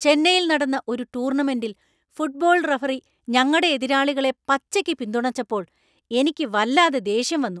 ചെന്നൈയിൽ നടന്ന ഒരു ടൂർണമെൻ്റിൽ ഫുട്ബോൾ റഫറി ഞങ്ങടെ എതിരാളികളെ പച്ചയ്ക്ക് പിന്തുണച്ചപ്പോൾ എനിക്ക് വല്ലാതെ ദേഷ്യം വന്നു.